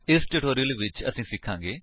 ਇਸ ਟਿਊਟੋਰਿਅਲ ਵਿੱਚ ਅਸੀ ਸਿਖਾਂਗੇ